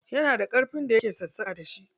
Yana da ƙarfen da yake sassaƙa da shi.